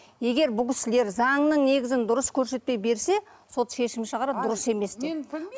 егер бұл кісілер заңның негізін дұрыс көрсетпей берсе сот шешім шығарады дұрыс емес деп мен